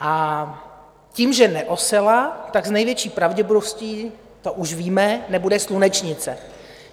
A tím, že neosela, tak s největší pravděpodobností - to už víme - nebude slunečnice.